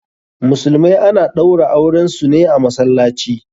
Musulmai ana ɗaura auren su ne a masallaci.